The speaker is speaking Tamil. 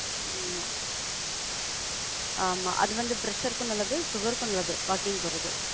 ஆமா, ஆமா. அது வந்து pressure க்கும் நல்லது, sugar க்கும் நல்லது walking போறது.